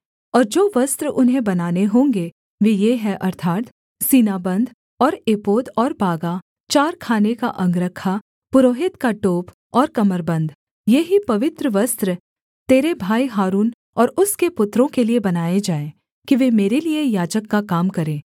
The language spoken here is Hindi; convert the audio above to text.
और जो वस्त्र उन्हें बनाने होंगे वे ये हैं अर्थात् सीनाबन्ध और एपोद और बागा चार खाने का अंगरखा पुरोहित का टोप और कमरबन्द ये ही पवित्र वस्त्र तेरे भाई हारून और उसके पुत्रों के लिये बनाएँ जाएँ कि वे मेरे लिये याजक का काम करें